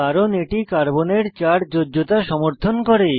কারণ এটি কার্বনের চার যোজ্যতা সমর্থন করে